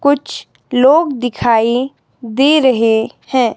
कुछ लोग दिखाई दे रहे हैं